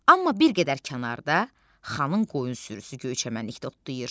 Amma bir qədər kənarda xanın qoyun sürüsü göyçəmənlikdə otlayır.